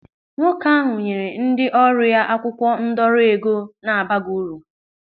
Nwoke ahụ nyere ndị ọrụ ya akwụkwọ ndọrọ ego na-abaghị uru.